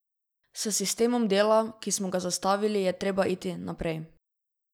S sistemom dela, ki smo ga zastavili, je treba iti naprej.